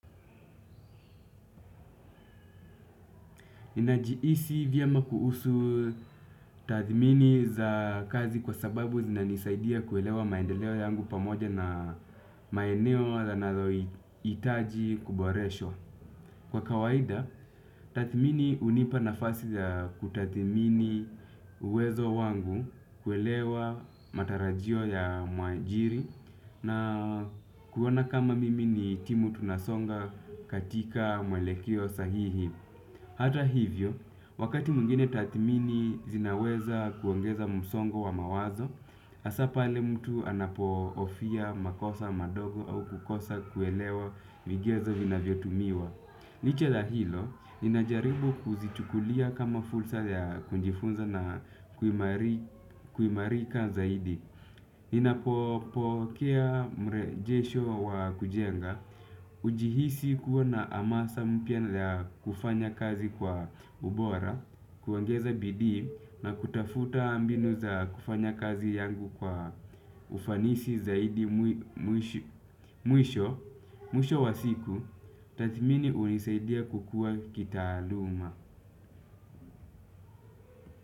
Ninajihisi vyema kuhusu tathimini za kazi kwa sababu zinanisaidia kuelewa maendeleo yangu pamoja na maeneo yanayohitaji kuboreshwa. Kwa kawaida, tathmini hunipa nafasi za kutathmini uwezo wangu kuelewa matarajio ya mwajiri na kuona kama mimi ni timu tunasonga katika mwelekeo sahihi. Hata hivyo, wakati mwingine tathmini zinaweza kuongeza msongo wa mawazo, hasa pale mtu anapohofia makosa madogo au kukosa kuelewa migezo vinavyotumiwa. Licha ya hilo, inajaribu kuzichukulia kama fursa ya kujifunza na kuimarika zaidi. Ninapopokea mrejesho wa kujenga hujihisi kuwa na amasa mpya ya kufanya kazi kwa ubora. Kuongeza bidii na kutafuta mbinu za kufanya kazi yangu kwa ufanisi zaidi mwisho. Mwisho wa siku, tathmini hunisaidia kukua kitaaluma.